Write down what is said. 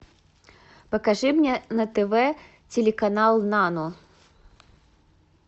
покажи мне на тв телеканал нано